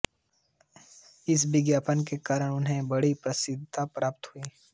इस विज्ञापन के कारण उन्हें बड़ी प्रसिद्धि प्राप्त हुई